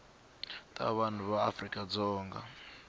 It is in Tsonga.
ta vanhu ya afrika dzonga